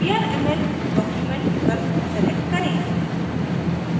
vrml document विकल्प select करें